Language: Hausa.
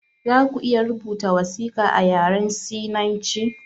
Zaku iya rubuta wasiƙa a yaren sinanci?